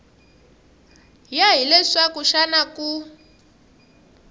ya hi leswaku xana ku